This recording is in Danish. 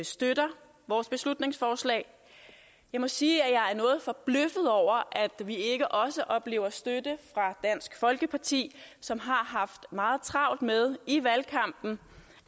støtter vores beslutningsforslag jeg må sige at jeg er noget forbløffet over at vi ikke også oplever støtte fra dansk folkeparti som har haft meget travlt med i valgkampen